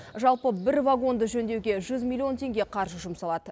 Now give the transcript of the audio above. жалпы бір вагонды жөндеуге жүз миллион теңге қаржы жұмсалады